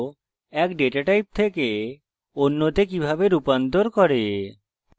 এক data type থেকে অন্যতে কিভাবে রূপান্তর করে